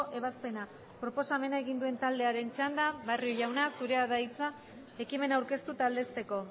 ebazpena proposamena egin duen taldearen txanda barrio jauna zurea da hitza ekimena aurkeztu eta aldezteko